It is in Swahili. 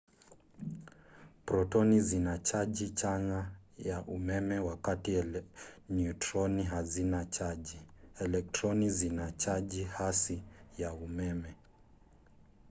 protoni zina chaji chanya ya umeme wakati neutroni hazina chaji. elektroni zina chaji hasi ya umeme